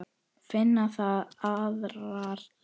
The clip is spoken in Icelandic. Finna þarf aðrar leiðir.